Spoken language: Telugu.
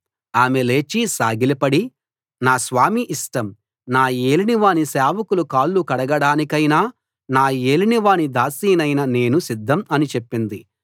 ఆమె లేచి సాగిలపడి నా స్వామి ఇష్టం నా యేలినవాని సేవకుల కాళ్లు కడగడానికైనా నా యేలినవాని దాసీనైన నేను సిద్దం అని చెప్పింది